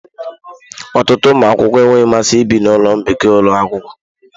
Ọtụtụ ụmụ akwụkwọ enweghị mmasị ibi na ụlọ mbikọ ụlọ akwụkwọ.